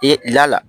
E la